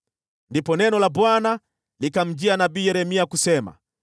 Ndipo neno la Bwana likamjia nabii Yeremia kusema: